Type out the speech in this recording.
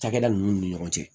Cakɛda ninnu ni ɲɔgɔn cɛ